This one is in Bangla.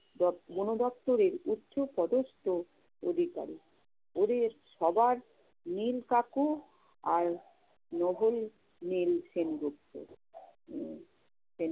ব~ বনদপ্তরের উচ্চপদস্থ অধিকারিক। ওদের সবার নীল কাকু আর নভুল নীল সেন গুপ্ত। উম